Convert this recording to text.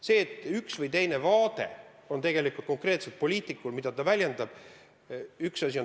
See, et konkreetsel poliitikul on üks või teine vaade, mida ta väljendab, on üks asi.